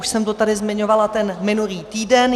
Už jsem to tady zmiňovala ten minulý týden.